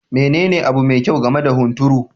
Menene abu me kyau game da hunturu?